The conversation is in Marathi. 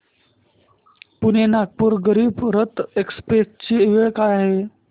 पुणे नागपूर गरीब रथ एक्स्प्रेस ची वेळ काय आहे